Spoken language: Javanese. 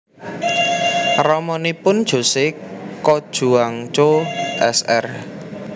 Ramanipun Jose Cojuangco Sr